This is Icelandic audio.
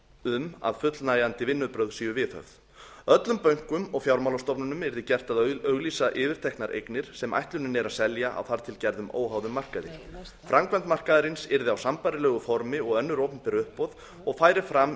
um að fullnægjandi vinnubrögð séu viðhöfð öllum bönkum og fjármálastofnunum yrði gert að auglýsa yfirteknar eignir sem ætlunin er að selja á þar til gerðum óháðum markaði framkvæmd markaðarins yrði á sambærilegu formi og önnur opinber uppboð og færi fram